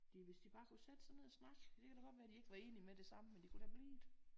Det hvis de bare kunne sætte sig ned og snakke det kan da godt være de ikke var enige med det samme men de kunne da blive det